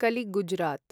कलि गुजरात्